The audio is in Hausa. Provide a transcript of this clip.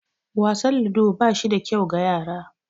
Wasan ludo ba shi da kyau ga yara